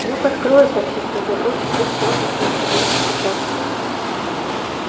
люк откроют таксистов допросят и всё на следующий день постучатся